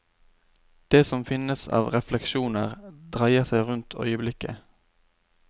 Det som finnes av refleksjoner, dreier seg rundt øyeblikket.